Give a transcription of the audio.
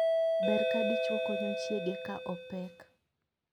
Ber ka dichwo konyo chiege ka opek.